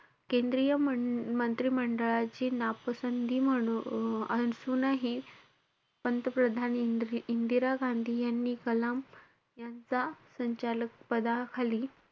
केंद्रीय मं~ मंत्री मंडळाची नापसंती म्हणू~ असूनही पंतप्रधान इंदिरा~ इंदिरा गांधी यांनी कलाम यांचा संचालक पदाखाली,